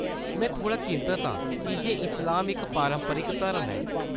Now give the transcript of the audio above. में थोह्‌ड़ा चिंतत हा, कीजे इस्लाम इक पारंपरिक धर्म ऐ ।